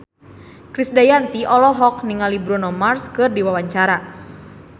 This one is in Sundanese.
Krisdayanti olohok ningali Bruno Mars keur diwawancara